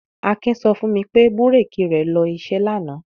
Akin sọ fún mi pé búrékì rẹ̀ lọ iṣẹ́ lánàá.